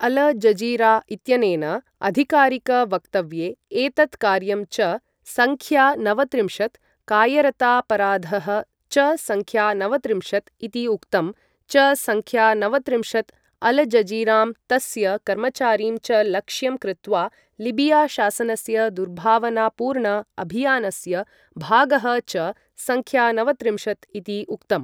अल Jazeera इत्यनेन आधिकारिकवक्तव्ये एतत् कार्यं च संख्यानवत्रिंशत्, कायरतापराधःचसंख्यानवत्रिंशत्, इति उक्तं, चसंख्यानवत्रिंशत्, अलजजीरां तस्य कर्मचारीं च लक्ष्यं कृत्वा लीबिया शासनस्य दुर्भावनापूर्ण अभियानस्य भागःचसंख्यानवत्रिंशत्, इति उक्तम् ।